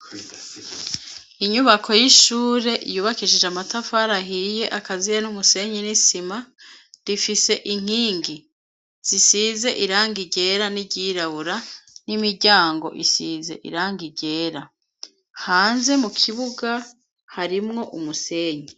Inyubako y'ishure yubakishije amatafari ahiye, akaziye n'umusenyi n'isima. Rifise inkingi zisize irangi ryera n'iryirabura, n'imiryango isize irangi ryera, hanze mu kibuga harimwo umusenyi.